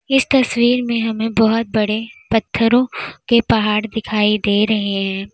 इस तस्वीर में हमें बहोत बड़े पत्थरों के पहाड़ दिखाई दे रहे हैं।